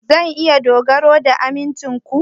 Zan iya dogara ga amincin ku?